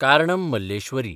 Karnam Malleswari